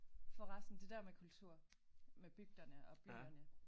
Forresten det der med kultur med bygderne og byerne